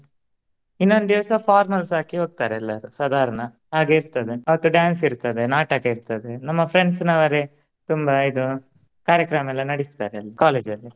ಇನ್ನೊಂದ್ ದಿವಸ formals ಹಾಕಿ ಹೋಗ್ತಾರೆ ಎಲ್ಲರು ಸಾಧಾರಣ. ಹಾಗೆ ಇರ್ತದ ಅವತ್ತು dance ಇರ್ತದೆ ನಾಟಕ ಇರ್ತದೆ ನಮ್ಮ friends ನವರೆ ತುಂಬಾ ಇದು ಕಾರ್ಯಕ್ರಮ ಎಲ್ಲಾ ನಡಿಸ್ತಾರೆ college ಅಲ್ಲಿ.